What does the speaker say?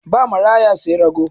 Ba maraya sai rago.